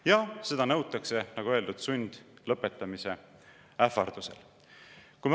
Jah, seda nõutakse, nagu öeldud, sundlõpetamise ähvardusel.